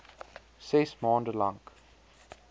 ses maande lank